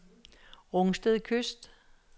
Rungsted Kyst